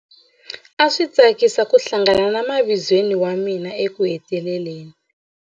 A swi tsakisa ku hlangana na mavizweni wa mina ekuheteleleni.